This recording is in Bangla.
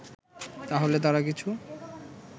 তাহলে তারা কিছু